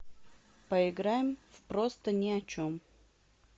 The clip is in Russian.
поиграем в просто ни о чем